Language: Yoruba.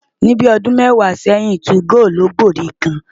Ní bíi ọdún mẹ́wàá sẹ́yìn, 2go ló gbòde kàn.